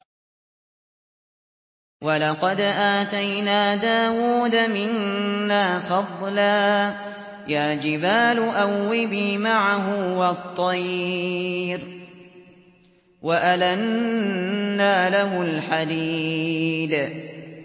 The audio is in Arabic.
۞ وَلَقَدْ آتَيْنَا دَاوُودَ مِنَّا فَضْلًا ۖ يَا جِبَالُ أَوِّبِي مَعَهُ وَالطَّيْرَ ۖ وَأَلَنَّا لَهُ الْحَدِيدَ